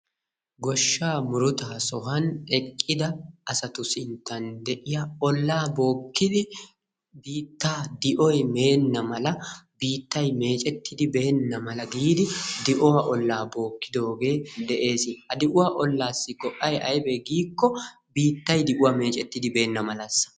Goshsha murutta sohuwan eqqida asatu sinttan de'iya olla bookkidi biitaa di'oy meenna mala biitay meccetidi bena mala gidi di'uwaa olla bookkidoge de'ees. Ha di'uwa ollasi go'ay aybe giko biitay di'uwan meccettidi benamalasa.